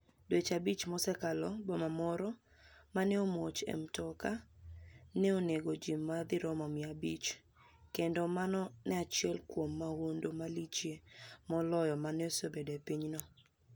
Dweche abich mosekalo, boma moro ma ni e omuoch e mtoka ni e oni ego ji ma dirom mia abich, kenido mano ni e eni achiel kuom mahunidu malichie moloyo ma nosebedoe e piny no.